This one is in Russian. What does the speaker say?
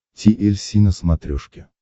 ти эль си на смотрешке